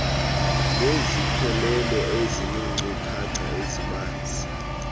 nesikhokelo esineenkcukacha ezibanzi